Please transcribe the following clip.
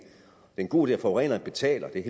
en god idé at forureneren betaler det er